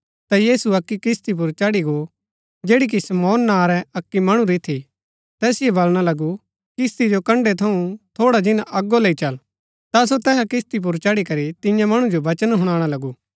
ता यीशु अक्की किस्ती पुर चढ़ी गो जैड़ी कि शमौन नां रै अक्की मणु री थी तैसिओ वलणा लगू किस्ती जो कण्ड़ै थऊँ थोड़ा जिन्‍ना अगो लैई चल ता सो तैहा किस्ती पुर चढ़ी करी तियां मणु जो बचन हुणाणा लगू